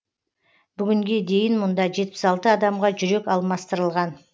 бүгінге дейін мұнда жетпіс алты адамға жүрек алмастырылған